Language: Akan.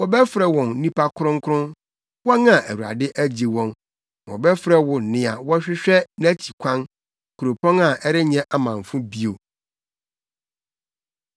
Wɔbɛfrɛ wɔn Nnipa Kronkron, wɔn a Awurade Agye Wɔn; na wɔbɛfrɛ wo Nea Wɔrehwehwɛ Nʼakyi Kwan, Kuropɔn a Ɛrenyɛ Amamfo Bio.